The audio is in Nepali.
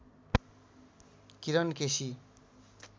किरण केसी